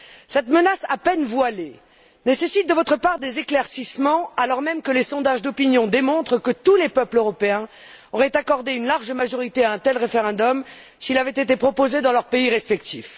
Cette menace à peine voilée nécessite de votre part des éclaircissements alors même que les sondages d'opinion démontrent que tous les peuples européens auraient accordé une large majorité à un tel référendum s'il avait été proposé dans leurs pays respectifs.